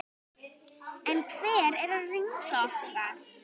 En hver er reynsla okkar?